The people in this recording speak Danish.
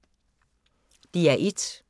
DR1